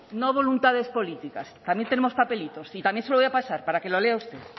no voluntades políticas también tenemos papelitos y también se lo voy a pasar para que lo lea usted